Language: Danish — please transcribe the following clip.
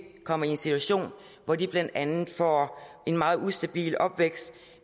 kommer i en situation hvor de blandt andet får en meget ustabil opvækst